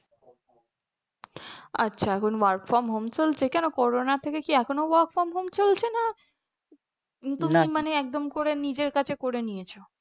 আচ্ছা এখন work from home চলছে কেন করোনা থেকে কি এখনো work from home চলছে না তুমি মানে একদম করে নিজের কাছে করে নিয়েছো।